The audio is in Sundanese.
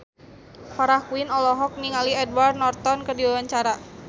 Farah Quinn olohok ningali Edward Norton keur diwawancara